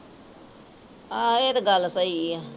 ਆ ਇਹ ਗੱਲ ਤਾਂ ਸਹੀ ਹੈ।